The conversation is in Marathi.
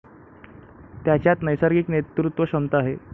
त्याच्यात नैसर्गिक नेतृत्वक्षमता आहे.